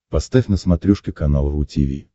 поставь на смотрешке канал ру ти ви